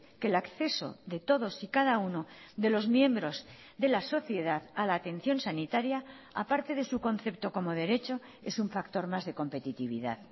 que el acceso de todos y cada uno de los miembros de la sociedad a la atención sanitaria a parte de su concepto como derecho es un factor más de competitividad